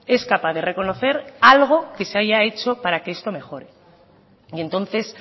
es capaz de reconocer algo que se haya hecho para que esto mejore y entonces